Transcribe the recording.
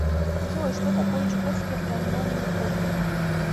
джой что такое чукотский автономный округ